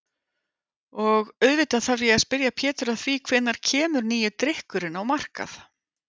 Og auðvitað þarf ég að spyrja Pétur að því hvenær kemur nýi drykkurinn á markað?